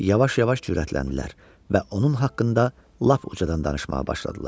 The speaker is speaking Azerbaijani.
Yavaş-yavaş cürətləndilər və onun haqqında lap ucadan danışmağa başladılar.